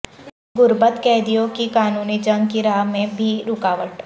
غربت قیدیوں کی قانونی جنگ کی راہ میں بھی رکاوٹ